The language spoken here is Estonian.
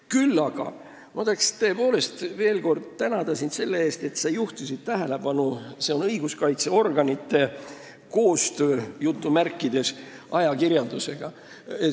Küll aga tahan sind tõepoolest veel kord tänada selle eest, et sa juhtisid tähelepanu õiguskaitseorganite "koostööle" ajakirjandusega.